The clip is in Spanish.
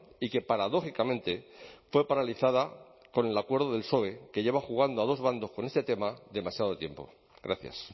y que paradójicamente fue paralizada con el acuerdo del psoe que lleve jugando a dos bandos con este tema demasiado tiempo gracias